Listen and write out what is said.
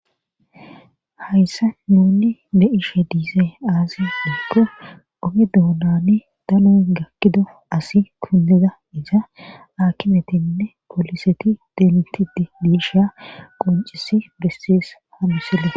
hayssa nuuni be7ishe dizey aaze giikko oge doonani danoy gakkida asi kunddida isa aakimetinne pooliseti denttiiddi disha qonccissi bessees ha misile.